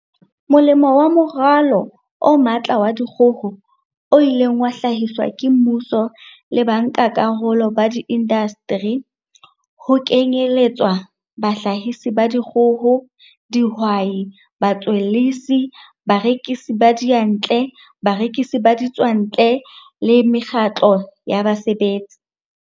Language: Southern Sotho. Molemo wa Moralo o Matla wa Dikgoho, o ileng wa hlahiswa ke mmuso le ba nkakarolo ba diindasteri, ho kenyeletswa bahlahisi ba dikgoho, dihwai, batswellisi, barekisi ba diyantle, barekisi ba ditswantle le mekgatlo ya basebetsi.